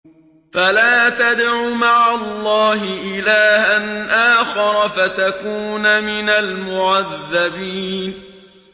فَلَا تَدْعُ مَعَ اللَّهِ إِلَٰهًا آخَرَ فَتَكُونَ مِنَ الْمُعَذَّبِينَ